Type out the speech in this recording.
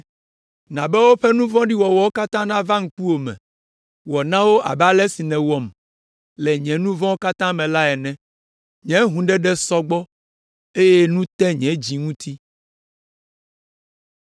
“Na be woƒe nu vɔ̃ɖi wɔwɔwo katã nava ŋkuwò me; wɔ na wo abe ale si nèwɔm le nye nu vɔ̃wo katã ta la ene. Nye hũuɖeɖe sɔ gbɔ eye nu te nye dzi ŋuti.”